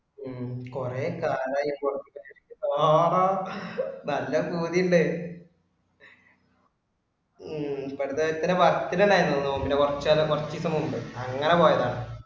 ഉം കുറെ കാലായി പുറത്തേക്ക് ഇറങ്ങിയിട്ട്. ആഹാ നല്ല പൂതി ഉണ്ട്. ഉം പക്ഷെ ഇച്ചിര work ഇന്റെ കാര്യങ്ങൾ കുടിയുണ്ട്. കുറച്ചു കാലം കുറച്ചു ദിവസം മുൻപ് അങ്ങനെ പോയതാണ്.